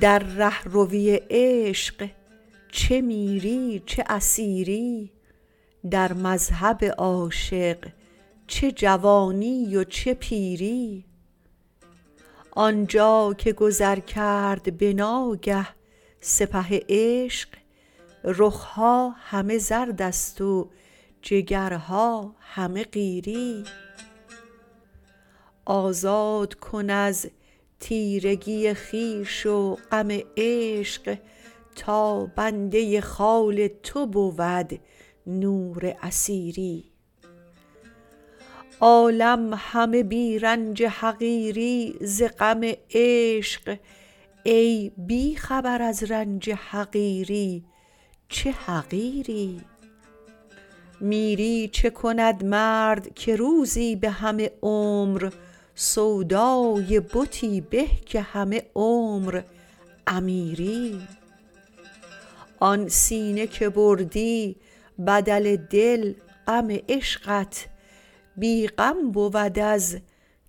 در ره روی عشق چه میری چه اسیری در مذهب عاشق چه جوانی و چه پیری آنجا که گذر کرد بناگه سپه عشق رخها همه زردست و جگرها همه قیری آزاد کن از تیرگی خویش و غم عشق تا بنده خال تو بود نور اثیری عالم همه بی رنج حقیری ز غم عشق ای بی خبر از رنج حقیری چه حقیری میری چه کند مرد که روزی به همه عمر سودای بتی به که همه عمر امیری آن سینه که بردی بدل دل غم عشقت بی غم بود از